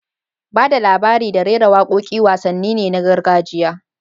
Ba da labari da rera waƙoƙi wasanni ne na gargajiya